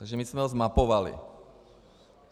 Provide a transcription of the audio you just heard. Takže my jsme ho zmapovali.